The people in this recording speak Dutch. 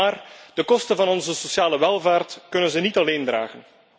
Maar de kosten van onze sociale welvaart kunnen zij niet alleen torsen.